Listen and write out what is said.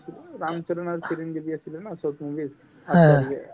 ৰামচৰণ আৰু আছিলে ন south movie ৰ